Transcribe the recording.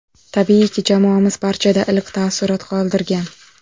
Tabiiyki, jamoamiz barchada iliq taassurot qoldirgan.